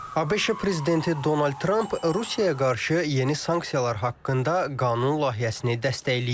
ABŞ prezidenti Donald Tramp Rusiyaya qarşı yeni sanksiyalar haqqında qanun layihəsini dəstəkləyib.